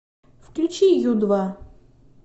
включи ю два